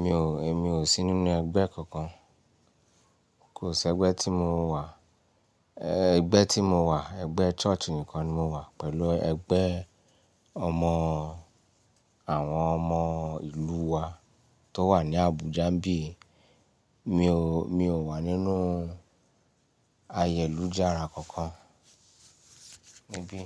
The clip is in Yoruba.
Mi ò, èmi ò sí nínú ẹgbẹ́ kankan. Kò sí ẹgbẹ́ tí mo wà. Ẹgbẹ́ tí mo wà, ẹgbẹ́ church nìkan ni mo wà pẹ̀lú ẹgbẹ́ ọmọ àwọn ọmọ ìlú wa tó wà ní Abuja bí. Mi ò, mi ò wà nínú ayẹ̀lújàara kankan níbí.